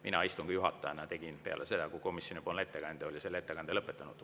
Mina istungi juhatajana tegin seda, peale seda, kui komisjonipoolne ettekandja oli ettekande lõpetanud.